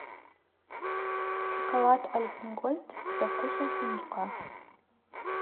шоколад альпен гольд со вкусом фундука